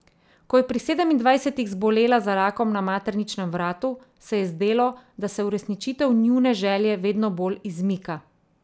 Ko je pri sedemindvajsetih zbolela za rakom na materničnem vratu, se je zdelo, da se uresničitev njune želje vedno bolj izmika.